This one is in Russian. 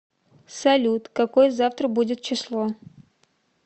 салют какое завтра будет число